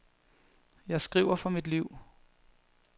Jeg skriver for mit liv.